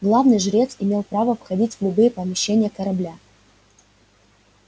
главный жрец имел право входить в любые помещения корабля